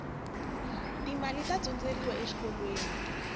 ti mali ta dyondzeriwa exikolweni